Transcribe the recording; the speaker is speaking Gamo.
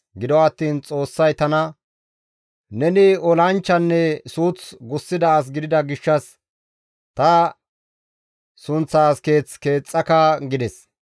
Gido attiin Xoossay tana, ‹Neni olanchchanne suuth gussida as gidida gishshas ta sunththaas keeth keexxaka› gides.